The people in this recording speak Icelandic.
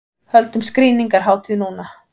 Höldum skrýningarhátíð núna!